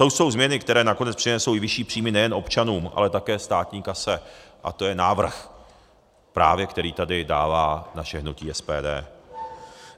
To jsou změny, které nakonec přinesou i vyšší příjmy nejen občanům, ale také státní kase, a to je návrh, právě který tady dává naše hnutí SPD.